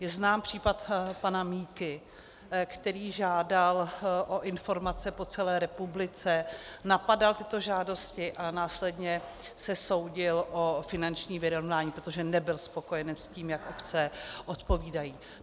Je znám případ pana Míky, který žádal o informace po celé republice, napadal tyto žádosti a následně se soudil o finanční vyrovnání, protože nebyl spokojen s tím, jak obce odpovídají.